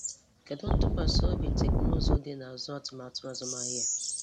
Kedụ ntụkwasị obi teknụzụ dị n’azụ atụmatụ azụmahịa a?